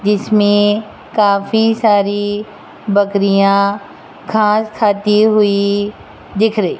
जिसमें काफी सारी बकरियां खास खाती हुई दिख रही।